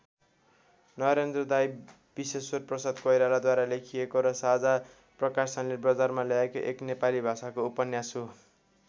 नरेन्द्र दाइ विश्वेश्वरप्रसाद कोइरालाद्वारा लेखिएको र साझा प्रकाशनले बजारमा ल्याएको एक नेपाली भाषाको उपन्यास हो।